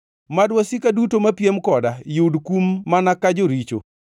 “Mad wasika duto mapiem koda, yud kum mana ka joricho!